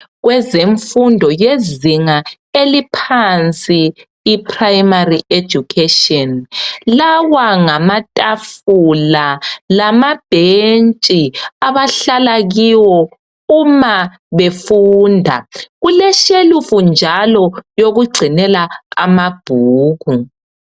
Kwezemfundo yezinga eliphansi iPrimary education lawa ngamatafula lamabhentshi àbahlala kiwo uma befunda, kuleshelufu njalo yokugcinela amabhuku.